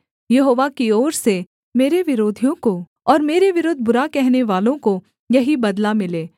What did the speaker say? यहोवा की ओर से मेरे विरोधियों को और मेरे विरुद्ध बुरा कहनेवालों को यही बदला मिले